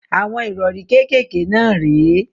Àwọn ìrọrí kékèké náà rè é.